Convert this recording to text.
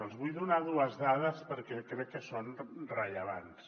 els vull donar dues dades perquè crec que són rellevants